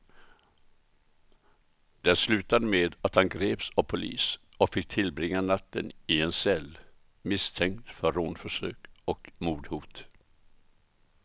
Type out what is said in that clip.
Det slutade med att han greps av polis och fick tillbringa natten i en cell, misstänkt för rånförsök och mordhot.